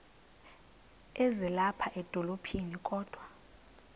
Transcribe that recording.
ezilapha edolophini kodwa